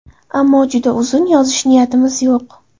Ammo juda uzun yozish niyatimiz yo‘q.